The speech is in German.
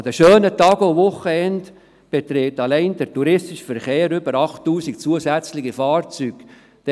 An den schönen Tagen und Wochenenden umfasst allein der touristische Verkehr über 8000 zusätzliche Fahrzeuge.